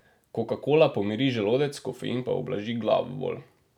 Kokakola pomiri želodec, kofein pa ublaži glavobol.